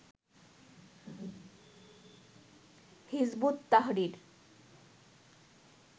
Hizb ut Tahrir